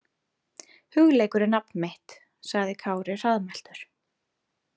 Hugleikur er nafn mitt, sagði Kári hraðmæltur.